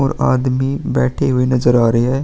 और आदमी बैठे हूए नजर आ रहे हैं।